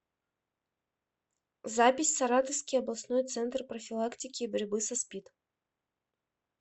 запись саратовский областной центр профилактики и борьбы со спид